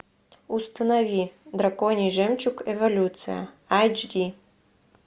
установи драконий жемчуг эволюция айч ди